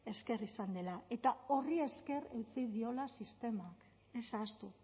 esker izan dela eta horri esker utzi diola sistemak ez ahaztu